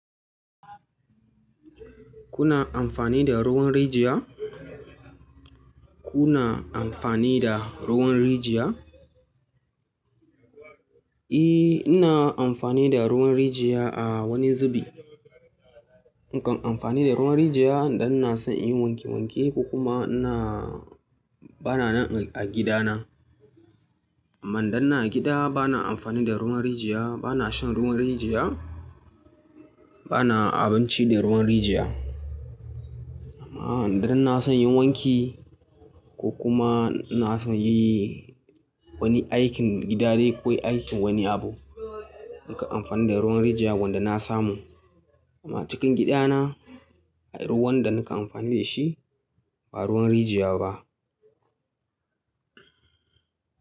Kuna amfani da ruwan rijiya? Kuna amfani da ruwan rijiya? Eh, ina amfani da ruwan rijiya a wani zubi. In kan amfani da ruwan rijiya idan ina so in yi wanke wanke ko kuma ina bana nan a gida na. Amma idan ina a gida bana amfani da ruwan rijiya, bana shan ruwan rijiya, bana abinci da ruwan rijiya. Amma idan ina son inyi wanki ko kuma ina so inyi wani aikin gida dai ko aikin wani abu, nakan amfani da ruwan rijiya wanda na samu. Amma cikin gida na, ruwan da nakan amfani da shi ba ruwan rijiya ba.